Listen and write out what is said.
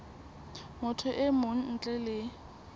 motho e mong ntle le